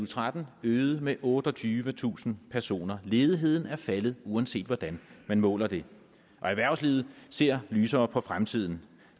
tretten øget med otteogtyvetusind personer ledigheden er faldet uanset hvordan man måler den og erhvervslivet ser lysere på fremtiden